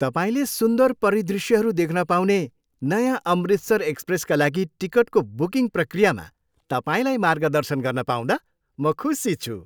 तपाईँले सुन्दर परिदृष्यहरू देख्न पाउने नयाँ 'अमृतसर एक्सप्रेस' का लागि टिकटको बुकिङ प्रक्रियामा तपाईँलाई मार्गदर्शन गर्न पाउँदा म खुसी छु।